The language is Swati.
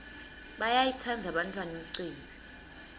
bayayitsandza bantfwana imicimbi